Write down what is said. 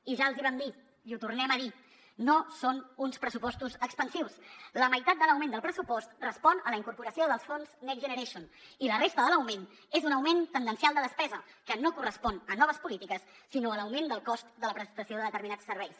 i ja els hi vam dir i ho tornem a dir no són uns pressupostos expansius la meitat de l’augment del pressupost respon a la incorporació dels fons next generation i la resta de l’augment és un augment tendencial de despesa que no correspon a noves polítiques sinó a l’augment del cost de la prestació de determinats serveis